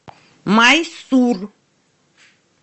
майсур